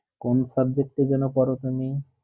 কোন subject এ জন্য পড়ো তুমি